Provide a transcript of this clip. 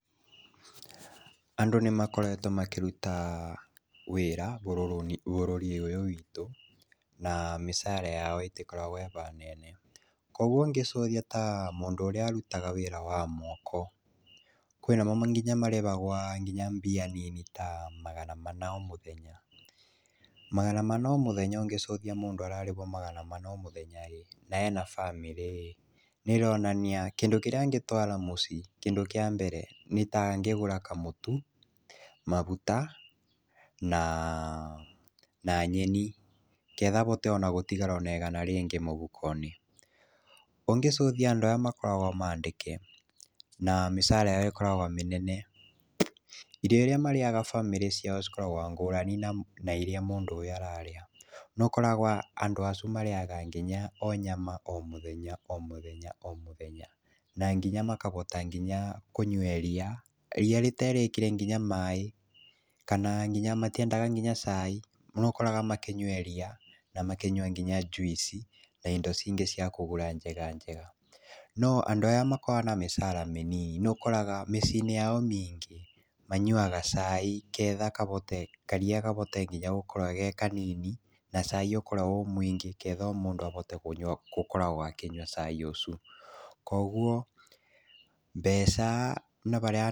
Andũ nĩmakoretwo makĩruta wĩra bũrũri ũyũ witũ, na mĩcara yao ĩtĩkoragwo ĩhanene. Koguo ũngĩcuthia ta mũndũ ũrĩa arutaga wĩra wa moko, kwĩnamo nginya marĩhagwa nginya mbia nini ta magana mana o mũthenya, magana mana o mũthenya ũngĩcũthia mũndũ ararĩhwa magana mana o mũthenya ĩ na ena bamĩrĩ ĩ, kĩndũ kĩrĩa angĩtwara mũciĩ, kĩndũ kĩa mbere nĩ ta angĩgũra kamũtu, maguta na nyeni, nĩgetha ahote gũtigara na ĩgana rĩngĩ mũhukonĩ, ũngĩcuthia andũ aya makoragwa andĩke na mĩcara ĩyo ĩkoragwa mĩnene irio iria marĩaga bamĩrĩ ciao cikoragwa ngũrani na iria mũndũ ũyũ ararĩa. Nĩ ũkoraga acu marĩaga nginya nyama o mũthenya, o mũthenya, o mũthenya, na nginya makahota nginya kũnyua iria, ĩria rĩterĩkĩre nginya maĩ kana nginya matĩendaga nginya cai, nĩ ũkoraga makĩnyua iria na makĩnyua nginya juici na indo cingĩ ciakũgũra indo njega njega. No andũ aya makoragwa na mĩcara mĩnini nĩũkoraga mĩciĩinĩ yao mĩingĩ manyuaga cai nĩgetha karia kahote nginya gakore gekanini na cai ũkorwe wĩ mũingĩ nĩgetha mũndũ ahote gũkorwa akĩnyua cai ũcu.